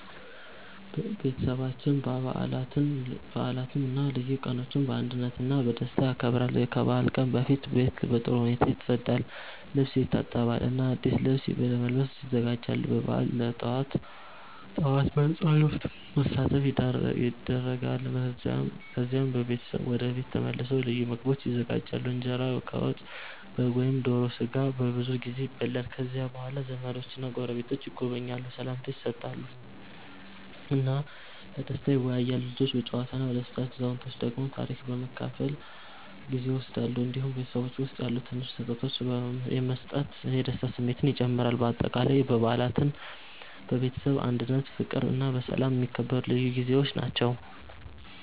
ቤተሰባችን በዓላትን እና ልዩ ቀኖችን በአንድነት እና በደስታ ያከብራል። ከበዓል ቀን በፊት ቤት በጥሩ ሁኔታ ይጸዳል፣ ልብስ ይታጠባል እና አዲስ ልብስ ለመልበስ ይዘጋጃሉ። በበዓል ጠዋት በጸሎት መሳተፍ ይደረጋል፣ ከዚያም ቤተሰብ ወደ ቤት ተመልሶ ልዩ ምግቦች ይዘጋጃሉ። እንጀራ ከወጥ፣ በግ ወይም ዶሮ ስጋ በብዙ ጊዜ ይበላል። ከዚያ በኋላ ዘመዶችና ጎረቤቶች ይጎበኛሉ፣ ሰላምታ ይሰጣሉ እና በደስታ ይወያያሉ። ልጆች በጨዋታ ይደሰታሉ፣ አዛውንቶች ደግሞ ታሪክ በመካፈል ጊዜ ይወስዳሉ። እንዲሁም በቤተሰብ ውስጥ ያሉ ትንሽ ስጦታዎች መስጠት የደስታ ስሜትን ይጨምራል። በአጠቃላይ በዓላት በቤተሰብ አንድነት፣ በፍቅር እና በሰላም የሚከበሩ ልዩ ጊዜዎች ናቸው።